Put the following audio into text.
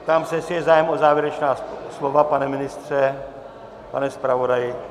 Ptám se, jestli je zájem o závěrečná slova - pane ministře, pane zpravodaji?